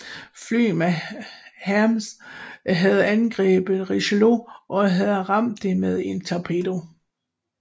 Fly fra Hermes havde angrebet Richelieu og havde ramt det med en torpedo